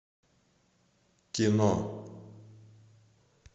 кино